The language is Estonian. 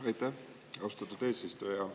Aitäh, austatud eesistuja!